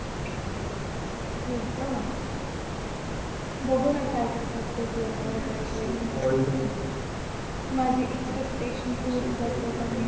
हो का बघू ना काय काय माझी एक्सपेक्टशन्स पुरे करतो की नाही